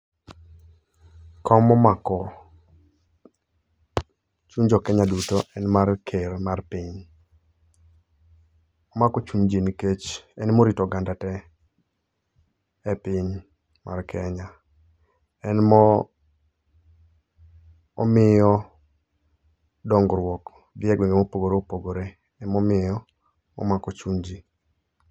Kom momako chuny jokenya duto en mar ker mar piny. Omako chuny jii nikech en morito oganda tee e piny mar kenya. En mo Omiyo dongruok dhi egwenge mopogore opogore emomiyo omako chuny jii.